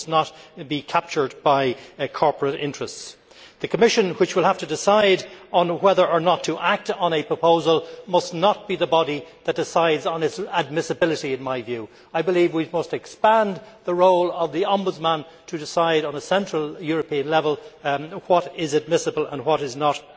They must not be captured by corporate interests. The Commission, which will have to decide on whether or not to act on a proposal, must not be the body that decides on its admissibility, in my view. I believe we must expand the role of the Ombudsman to decide on a central European level what is admissible and what is not